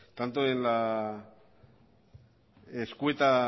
tanto en la escueta